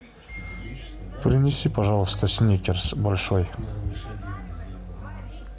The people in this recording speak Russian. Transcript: принеси пожалуйста сникерс большой